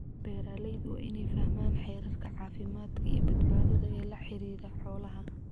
Beeralaydu waa inay fahmaan xeerarka caafimaadka iyo badbaadada ee la xidhiidha xoolaha.